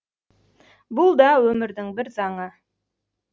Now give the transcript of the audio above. бұл да өмірдің бір заңы